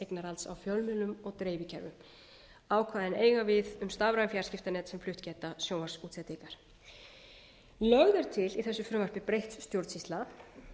eignarhalds á fjölmiðlum og dreifikerfum ákvæðin eiga við um stafræn fjarskiptanet sem flutt geta sjónvarpsútsendingar lögð er til í þessu frumvarpi breytt stjórnsýsla